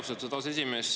Austatud aseesimees!